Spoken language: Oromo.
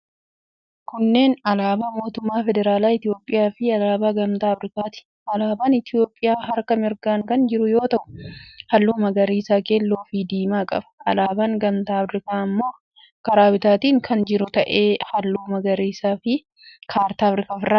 Kunneen alaabaa mootummaa feederaalaa Itiyoophiyaafi alaabaa Gamtaa Afirikaati. Alaabaan Itiyoophiyaa harka mirgaan kan jiru yoo ta'u, halluu magariisa, keelloofi diimaa qaba. Alaabaan Gamtaa Afirikaa immoo karaa bitaatiin kan jiru ta'ee, halluu magariisaafi kaartaa Afirikaa ofirraa qaba.